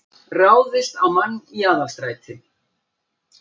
Ráðist á mann í Aðalstræti